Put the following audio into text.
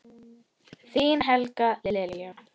Þín Helga Lilja.